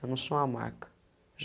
Eu não sou uma marca.